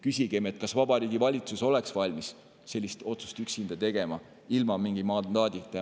Küsigem, kas Vabariigi Valitsus oleks valmis sellist otsust tegema üksinda, ilma mingi mandaadita.